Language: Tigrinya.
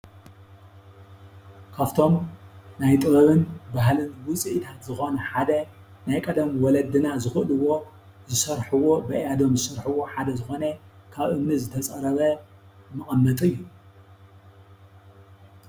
ካብቶም ናይ ጥበብን ባህሊን ውፅኢትን ዝኮኑ ሓደ ናይ ቀደም ወለድና ዝክእልዎ ዝሰርሕዎ ብኣእያዶም ዝስርሑ ሓደ ዝኮነ ካብ እምኒ ዝተፀረበ መቀመጢ እዩ።